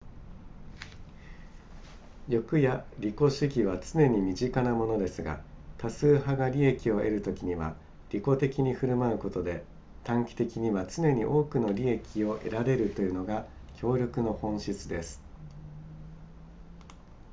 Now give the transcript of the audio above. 欲や利己主義は常に身近なものですが多数派が利益を得るときには利己的に振る舞うことで短期的には常に多くの利益を得られるというのが協力の本質です